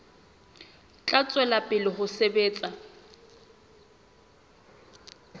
tla tswela pele ho sebetsa